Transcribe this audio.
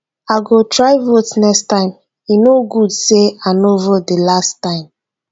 i go try vote next time e no good say i no vote the last time